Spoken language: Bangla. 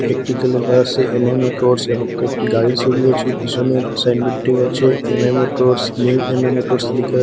একটিতে লেখা আছে এম_এ মোটরস এবং কয়েকটি গাড়ির ছবিও আছে পিছনের সাইনবোর্ডটিও আছে M A motors new M A motors লিখা--